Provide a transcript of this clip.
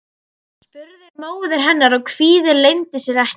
spurði móðir hennar og kvíðinn leyndi sér ekki.